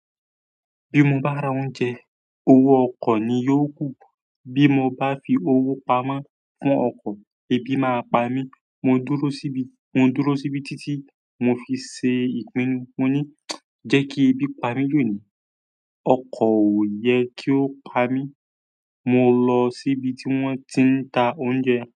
Bí mo bá ra oúnjẹ, owó ọkọ̀ ni yóò kù. Bí mo bá fi owó pamọ́ fún ọkọ̀, ebi máa pa mí. Mo dúró síbí, mo dúró síbí títí mo fi ṣe ìpinnu. Mo ní, jẹ́ kí ẹbí pa mí lónìí, ọkọ̀ ò ye kí ó pa mí. Mo lọ síbi tí wọ́n ti ń ta oúnjẹ.